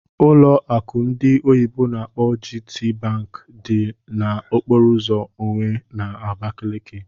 Ụlọ akụ ndị oyibo n'akpọ GTBank dị na okpòro ụzọ Onwe nọ na Abakaliki